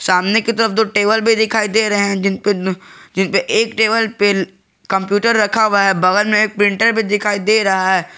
सामने की तरफ दो टेबल भी दिखाई दे रहे हैं जिन पे जिन पे एक टेबल पे कंप्यूटर रखा हुआ है बगल में एक प्रिंटर भी दिखाई दे रहा है।